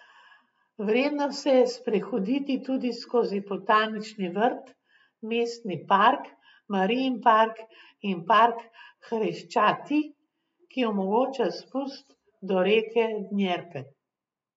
Vredno se je sprehoditi tudi skozi botanični vrt, Mestni park, Marijin park in park Hreščati, ki omogoča spust do reke Djenper.